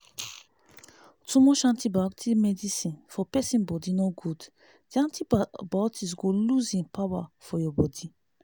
too much antibiotic medicine for pesin body nor good the antibiotics go lose hin power for ur body